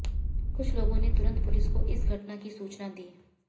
कुछ लोगों ने तुरंत पुलिस को इस घटना की सूचना दी